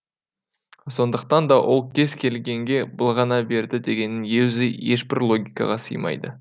сондықтан да ол кез келгенге былғана берді дегеннің ешбір логикаға сыймайды